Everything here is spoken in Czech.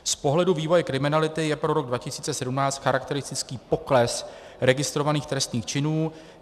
Z pohledu vývoje kriminality je pro rok 2017 charakteristický pokles registrovaných trestných činů.